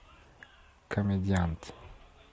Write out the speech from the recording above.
комедиант